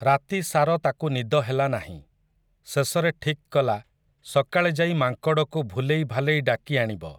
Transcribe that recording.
ରାତିସାର ତାକୁ ନିଦ ହେଲା ନାହିଁ, ଶେଷରେ ଠିକ୍ କଲା ସକାଳେ ଯାଇ ମାଙ୍କଡ଼କୁ ଭୁଲେଇ ଭାଲେଇ ଡାକି ଆଣିବ ।